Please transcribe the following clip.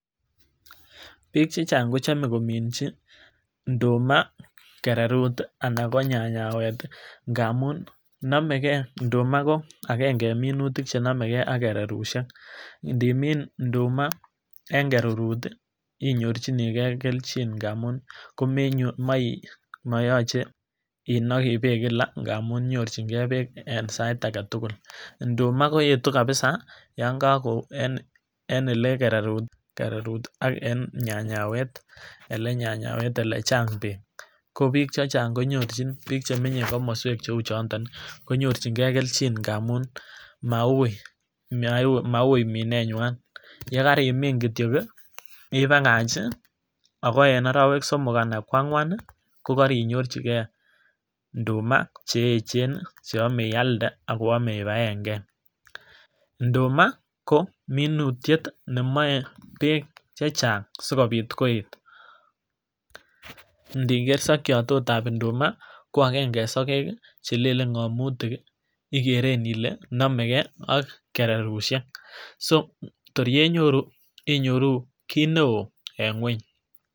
BIk chechang kochome kominchi nduma kererut tii anan ko nyanyawet tii ngamun nomegee nduma ko agenge en minutik chenomegee ak kererushek ndimin nduma en kererut tii inyorchinii gee keljin ngamun komenyor moi moyoche inoki beek kila ngamun nyorchin gee beek en sait agetukul. Nduma koyetu kabisa yon koko en ole kererut tii ak en nyanyawek ele nyanyawek ole chang beek, ko bik chechang konyorchin bik chemenye komoswek cheu chonton nii konyorchin gee keljin ngamun maui, maui minet nywan, yekarimin kityok kii ibakach chii ako en orowek somok anan ko angwan ni kokoinyorchi gee nduma cheyechen nii cheyome ialde ak koyome ibaen gee. Nduma ko minutyet nemoe beek chechang sikobit koet ndiker sokyot tot ab induma ko agenge en soket kii chelelen ngomutik ikeren ile nomegee ak kererushek kor kennyoruu iyoruu kit neo en ngweny.